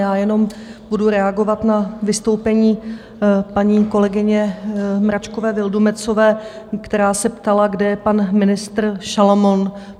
Já jenom budu reagovat na vystoupení paní kolegyně Mračkové Vildumetzové, která se ptala, kde je pan ministr Šalomoun.